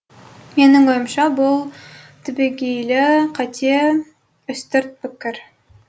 менің ойымша бұл түбегейлі қате үстірт пікір